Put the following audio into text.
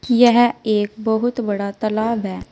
यह एक बहुत बड़ा तालाब है।